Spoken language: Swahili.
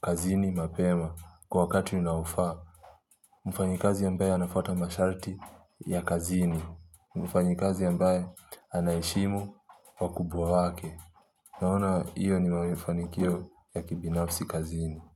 kazini mapema kwa wakati unaofaa mfanyikazi ambaye anafuata masharti ya kazini. Mfanyikazi ambaye anaheshimu wakubwa wake. Naona hiyo ni mafanikio ya kibinafsi kazini.